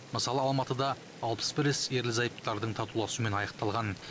мысалы алматыда алпыс бір іс ерлі зайыптылардың татуласуымен аяқталған